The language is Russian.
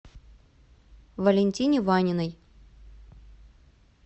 валентине ваниной